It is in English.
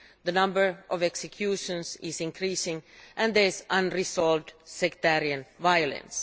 The number of executions is increasing and there is unresolved sectarian violence.